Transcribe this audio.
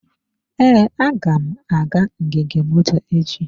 Ee, aga m aga ngige moto echi.